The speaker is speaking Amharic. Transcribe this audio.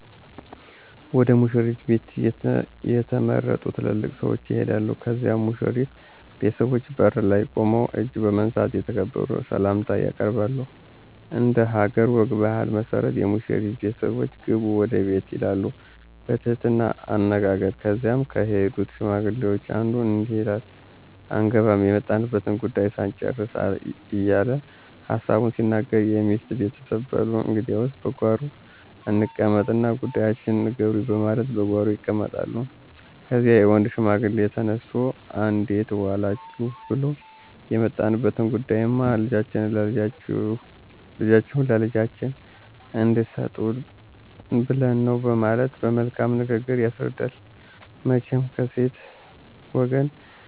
ወደ ሙሽሪት ቤት የተመረጡ ትልልቅ ሰዎች ይሄዳሉ ከዚያም በሙሽሪት ቤተሰቦች በር ላይ ቁመው እጅ በመንሳት የተከበረ ሰላምታ ያቀርባሉ። እንደሀገር ወግ ባህል መሠረት የሙሽሪት ቤተሰቦች ግቡ ወደ ቤት ይላሉ በትህትና አነጋገር ከዚያም ከሄዱት ሽማግሌዎች አንዱ እንዲህ ይላል አንገባም የመጣንበትን ጉዳዩ ሳንጭርስ እየለ ሀሳቡን ሲናገር የሚስት ቤተሰብ በሉ እንግዲያስ በጓሮ እንቀመጥ እና ጉዳያችሁን ንገሩኝ በማለት በጓሮ ይቀመጣሉ። ከዚያም የወንድ ሽማግሌ ተነስቶ እንዴት ዎላችሁ ብሉ የመጣንበት ጉዳይማ ልጃችሁን ለልጃችን እንድሰጡን ብለን ነው በማለት በመልካም ንግግር ያስረዳል። መቸም ከሴት ወገን